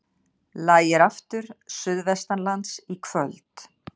Lægir aftur suðvestanlands í kvöld